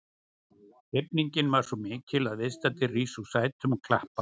Hrifningin er svo mikil að viðstaddir rísa úr sætum og klappa.